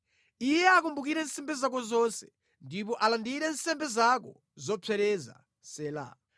Iye akumbukire nsembe zako zonse ndipo alandire nsembe zako zopsereza. Sela